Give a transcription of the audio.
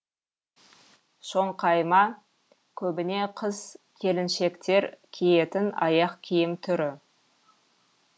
шоңқайма көбіне қыз келіншектер киетін аяқ киім түрі